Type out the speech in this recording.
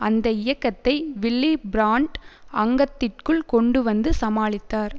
அந்த இயக்கத்தை Willy Brandt அங்கத்திற்குள் கொண்டு வந்து சமாளித்தார்